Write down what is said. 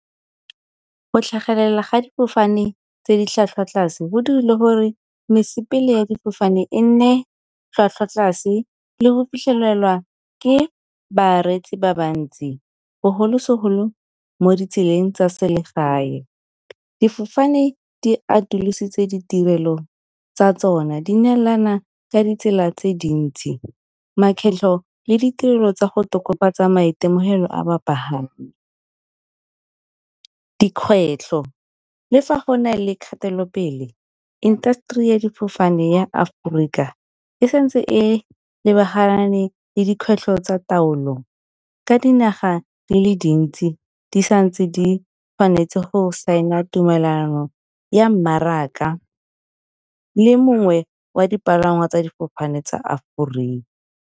Go tlhagelela ga difofane tse di tlhwatlhwa tlase go dirile gore mesepele ya difofane e nne tlhwatlhwa tlase le go fitlhelelwa ke bareetsi ba bantsi, bogolosegolo mo ditseleng tsa selegae. Difofane di atolositswe ditirelo tsa tsona di neelana ka ditsela tse dintsi makgetlho le ditirelo tsa go tokafatsa maitemogelo a bapagami. Dikgwetlho, le fa go na le kgatelopele, industry ya difofane ya Aforika e sa ntse e lebagane le dikgwetlho tsa taolo ka dinaga di le dintsi, di sa ntse di tshwanetse go sign-a tumelano ya mmaraka le mongwe wa dipalangwa tsa difofane tsa Aforika.